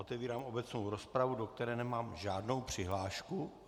Otevírám obecnou rozpravu, do které nemám žádnou přihlášku.